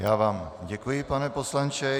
Já vám děkuji, pane poslanče.